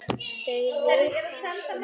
Þau vita ekki neitt.